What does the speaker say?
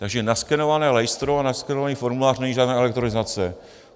Takže naskenované lejstro a naskenovaný formulář není žádná elektronizace.